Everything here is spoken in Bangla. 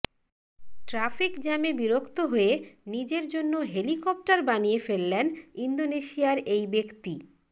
ট্রাফিক জ্যামে বিরক্ত হয়ে নিজের জন্য হেলিকপ্টার বানিয়ে ফেললেন ইন্দোনেশিয়ার এই ব্যক্তি